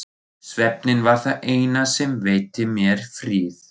Svefninn var það eina sem veitti mér frið.